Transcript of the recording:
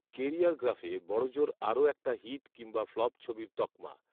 কেরিয়ারগ্রাফে বড়জোর আরও একটা হিট কিংবা ফ্লপ ছবির তকমা